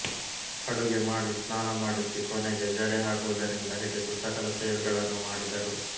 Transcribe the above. ಅಡುಗೆ ಮಾಡಿಸ್ನಾನ ಮಾಡಿಸಿ ಕೊನೆಗೆ ಜಡೆ ಹಾಕುವುದರಿಂದ ಹಿಡಿದು ಸಕಲ ಸೇವೆಗಳನ್ನೂ ಮಾಡಿದರು